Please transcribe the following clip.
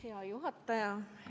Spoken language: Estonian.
Hea juhataja!